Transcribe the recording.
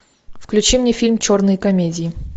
включи мне фильм черные комедии